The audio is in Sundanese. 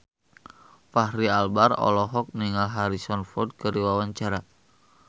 Fachri Albar olohok ningali Harrison Ford keur diwawancara